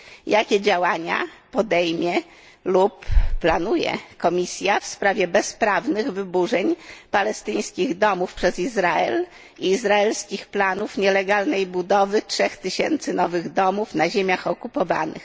Jakie działania podejmie lub planuje Komisja w sprawie bezprawnych wyburzeń palestyńskich domów przez Izrael i izraelskich planów nielegalnej budowy trzech tysięcy nowych domów na ziemiach okupowanych?